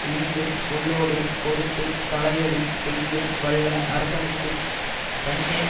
இனிய சொல்லோடே கொடுத்து தலையளி செய்ய வல்ல அரசனுக்கு தன்னே